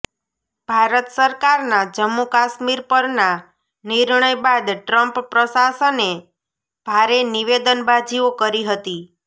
ભારત સરકારના જમ્મુ કાશ્મીર પરના નિર્ણય બાદ ટ્રમ્પ પ્રશાસને ભારે નિવેદનબાજીઓ કરી હતી